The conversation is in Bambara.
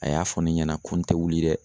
A y'a fɔ ne ɲɛna ko n tɛ wuli dɛ.